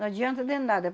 Não adianta de nada.